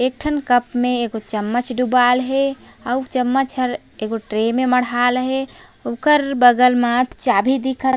एक ठन कप में एगो चम्मच डुबाएल हे आउ चम्मच ह ए गो ट्रे म मड़हाय ल हे ओकर बगल में चाभी दिखत--